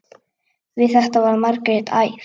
Við þetta varð Margrét æf.